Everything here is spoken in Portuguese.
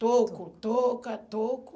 toco, touca, toco.